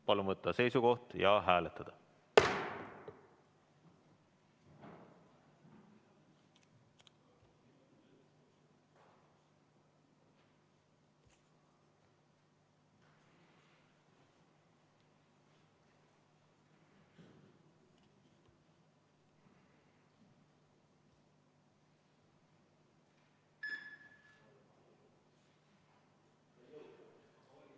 Palun võtta seisukoht ja hääletada!